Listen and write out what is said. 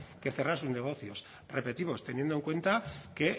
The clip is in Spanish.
que cerrar sus negocios repetimos teniendo en cuenta que